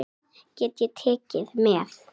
Hvað get ég tekið með?